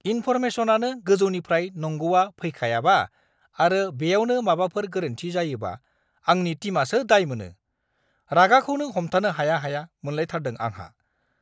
इनफ'रमेसनआनो गोजौनिफ्रायनो नंगौआ फैखायाबा आरो बेयावनो माबाफोर गोरोन्थि जायोबा आंनि टिमआसो दायमोनो, रागाखौनो हमथानो हाया-हाया मोनलायथारदों आंहा।